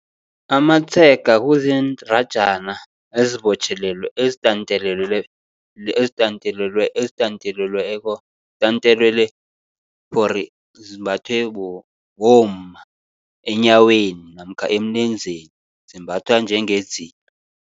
Amatshega kuziindratjana ezitantelelweko zimbathwe bomma enyaweni, namkha emlenzeni zimbathwa njengedzila.